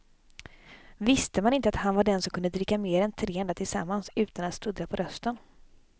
Visste man inte att han var den som kunde dricka mer än tre andra tillsammans utan att sluddra på rösten.